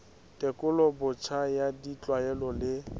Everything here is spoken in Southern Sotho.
tekolo botjha ya ditlwaelo le